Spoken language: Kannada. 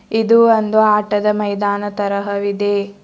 ಇದು ಒಂದು ಆಟದ ಮೈದಾನ ತರಹ ವಿದೆ.